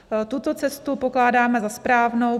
Tuto cestu pokládáme za správnou.